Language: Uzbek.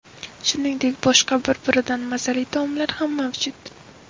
Shuningdek, boshqa bir-biridan mazali taomlar ham mavjud.